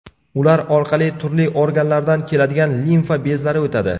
Ular orqali turli organlardan keladigan limfa bezlari o‘tadi.